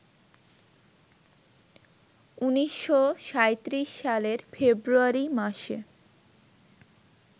১৯৩৭ সালের ফেব্রুয়ারি মাসে